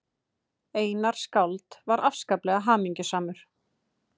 Einar skáld var afskaplega hamingjusamur.